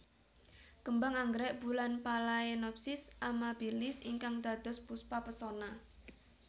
Kembang anggrek bulan Phalaenopsis amabilis ingkang dados Puspa Pesona